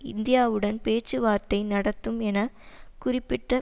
இந்தியாவுடன் பேச்சுவார்த்தை நடத்தும் என குறிப்பிட்ட